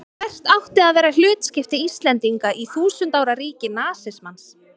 Hvert átti að vera hlutskipti Íslendinga í þúsund ára ríki nasismans?